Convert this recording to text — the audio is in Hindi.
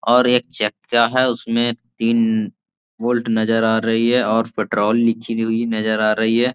और एक चक्का हैं उसमें तीन वोल्ट नज़र आ रही हैं और पेट्रोल लिखी गई नज़र आ रही हैं।